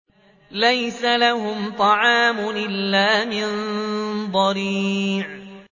لَّيْسَ لَهُمْ طَعَامٌ إِلَّا مِن ضَرِيعٍ